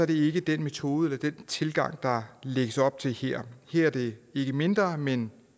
det ikke den metode eller den tilgang der lægges op til her er det ikke mindre men